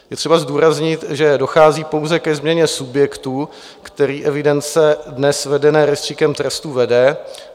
Je třeba zdůraznit, že dochází pouze ke změně subjektu, který evidence dnes vedené rejstříkem trestů vede.